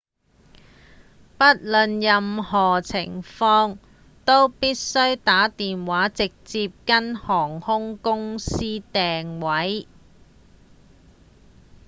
不論任何情況都必須打電話直接跟航空公司訂位